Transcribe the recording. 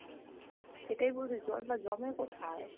সেটাই বলছি জলটা জমে কোথায়?